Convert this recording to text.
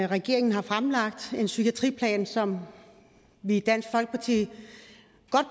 regeringen har fremlagt en psykiatriplan som vi i dansk folkeparti